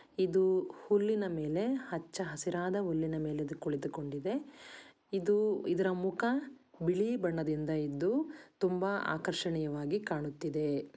ಇದು ಹುಲ್ಲಿನ ಮೇಲೆ ಹಚ್ಚ ಹಸಿರಾದ ಹುಲ್ಲಿನ ಮೇಲೆ ಇದು ಕುಳಿತುಕೊಂಡಿದೆ. ಇದು ಇದರ ಮುಖ ಬಿಳಿ ಬಣ್ಣದಿಂದ ಇದ್ದು ತುಂಬಾ ಆಕರ್ಷಣೆ ವಾಗಿ ಕಾಣುತ್ತಿದೆ